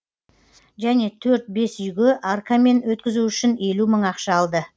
және төрт бес үйге аркамен өткізу үшін елу мың ақша алды